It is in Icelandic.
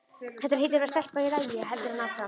Þetta hlýtur að vera stelpa í lagi, heldur hann áfram.